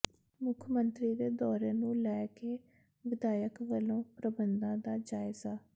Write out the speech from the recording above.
ਮੁੱਖ ਮੰਤਰੀ ਦੇ ਦੌਰੇ ਨੂੰ ਲੈ ਕੇ ਵਿਧਾਇਕ ਵਲੋਂ ਪ੍ਰਬੰਧਾਂ ਦਾ ਜਾਇਜ਼ਾ